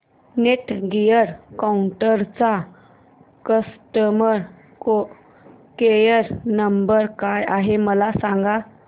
Netgear राउटरचा customer care number काय आहे मला सांग